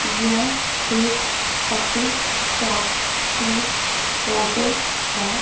यह एक puppy shop की फोटो है।